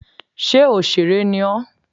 Sé òsèré ni ọ́?